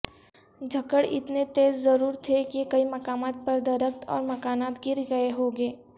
جھکڑ اتنے تیز ضرور تھے کہ کئی مقامات پر درخت اور مکانات گرگئے ہوں گے